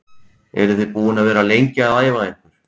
Eru þið búin að vera lengi að æfa ykkur?